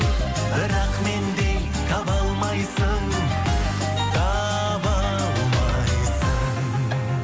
бірақ мендей таба алмайсың таба алмайсың